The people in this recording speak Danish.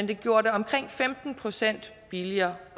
den gjorde det omkring femten procent billigere